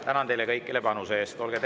Tänan teid kõiki teie panuse eest!